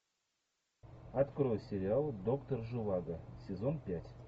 открой сериал доктор живаго сезон пять